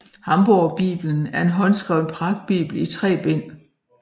Hamborgbibelen er en håndskreven pragtbibel i tre bind